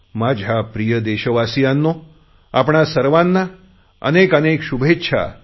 माझ्या प्रिय देशवासियांनो आपणा सर्वांना अनेक अनेक शुभेच्छा